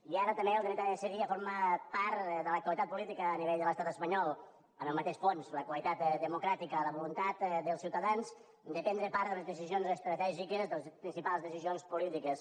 i ara també el dret a decidir ja forma part de l’actualitat política a nivell de l’estat espanyol amb el mateix fons la qualitat democràtica la voluntat dels ciutadans de prendre part de les decisions estratègiques de les principals decisions polítiques